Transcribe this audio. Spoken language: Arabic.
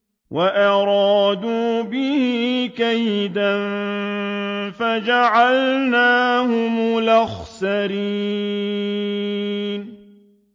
وَأَرَادُوا بِهِ كَيْدًا فَجَعَلْنَاهُمُ الْأَخْسَرِينَ